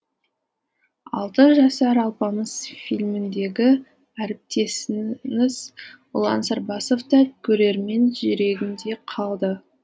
алты жасар алпамыс фильміндегі әріптесіңіз ұлан сарбасов та көрермен жүрегінде қалды